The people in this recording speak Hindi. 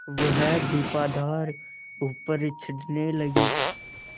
वह दीपाधार ऊपर चढ़ने लगा